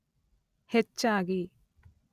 ಹೆಚ್ಚಾಗಿ